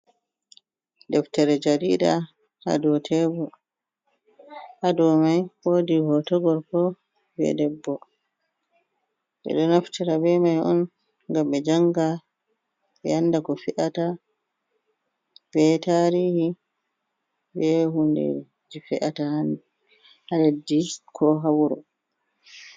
Deftere jarida hadow tebur, hadow mai woodi hoto gorko be debbo, ɓeɗo naftira be mai on ngam be janga be anda ko fe’ata be tarihi be hundeji fe’ata ha leddi ko ha wuro.